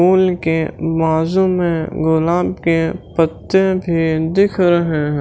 फूल के मौसम में गुलाब के पत्ते भी दिख रहे हैं।